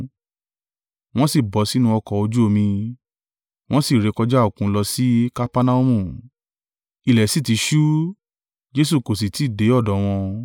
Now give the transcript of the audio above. Wọ́n sì bọ́ sínú ọkọ̀ ojú omi, wọ́n sì rékọjá Òkun lọ sí Kapernaumu. Ilẹ̀ sì ti ṣú, Jesu kò sì tí ì dé ọ̀dọ̀ wọn.